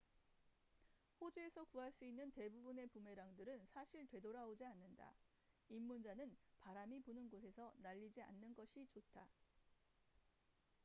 호주에서 구할 수 있는 대부분의 부메랑들은 사실 되돌아오지 않는다 입문자는 바람이 부는 곳에서 날리지 않는 것이 좋다